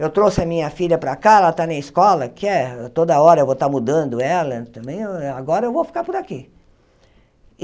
Eu trouxe a minha filha para cá, ela está na escola, quer toda hora eu vou estar mudando ela também, hã agora eu vou ficar por aqui.